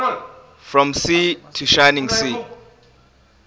from sea to shining sea